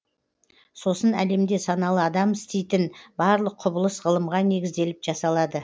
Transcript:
сосын әлемде саналы адам істейтін барлық құбылыс ғылымға негізделіп жасалады